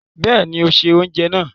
Bẹ́ẹ̀ni, ó se oúnjẹ náà.